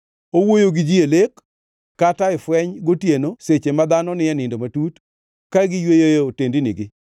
Owuoyo gi ji e lek, kata e fweny gotieno seche ma dhano ni e nindo matut, ka giyweyo e otendnigi;